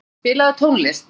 Játgeir, spilaðu tónlist.